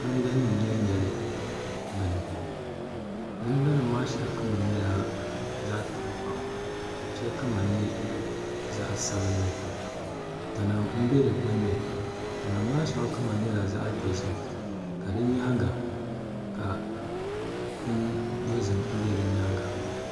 Namda nim n nyɛli nyɛli bini namda nim maa shɛli kama nyɛla zaɣ tankpaɣu ka shɛli kama nyɛ zaɣ sabinli tana n bɛ di gbunni tana maa shɛli kama nyɛ zaɣ dozim ka di nyaanga bini dozim bɛ di nyaanga